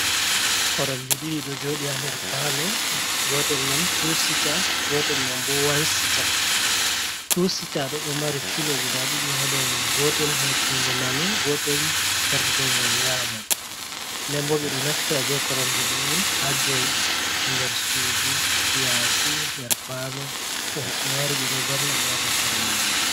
Koromje ɗiɗi ɗo joɗi ha nder palo, gotel man tu sita, gotel man bo wansita, tusita ɗo, ɗo mari filo guda ɗiɗi ha dou mun, gotel her jungo nano, gotel her jungo nyamo. Nden bo ɓe doy naftira be koromjo ɗe on ha jaɗuki nder sudu, yasi, nder palo, to hoɓɓe wari ɓe ɗo verna ɓe ha dou koromje on.